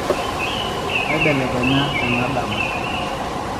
maibelekenya ena dala